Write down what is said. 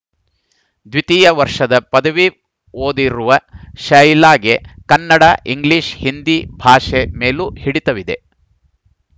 ದ್ವಿತೀಯ ವರ್ಷದ ಪದವಿ ಓದಿರುವ ಶೈಲಾಗೆ ಕನ್ನಡ ಇಂಗ್ಲಿಷ್‌ ಹಿಂದಿ ಭಾಷೆ ಮೇಲೂ ಹಿಡಿತವಿದೆ